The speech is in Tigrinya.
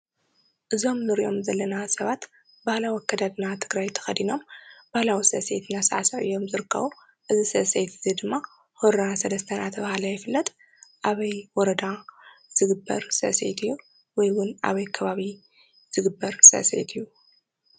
እዞም ንሪኦም ዘለና ሰባት ባህላዊ ኣከዳድና ትግራይ ተኸዲኖም ባህላዊ ስዕስዒት እናሳዕስዑ እዮም ዝርከቡ፡፡ እዚ ስዕስዒት ድማ ሁራ ሰለስተ እናተባህለ ይፍልጥ፡፡ ኣበይ ወረዳ ዝግበር ስዕስዒት እዩ ወይ ኣበይ ከባቢ ዝግበር ስዕስዒት እዩ ?